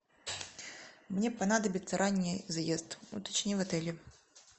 мне понадобится ранний заезд уточни в отеле